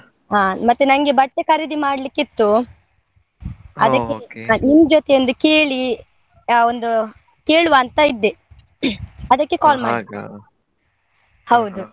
ಆ ಮತ್ತೆ ನಂಗೆ ಬಟ್ಟೆ ಖರೀದಿ ಮಾಡ್ಲಿಕ್ಕಿತ್ತು, ನಿಮ್ ಜೊತೆ ಒಂದು ಕೇಳಿ, ಆ ಒಂದು ಕೇಳುವ ಅಂತ ಇದ್ದೆ ಅದಕ್ಕೆ ಮಾಡಿದ್ದು .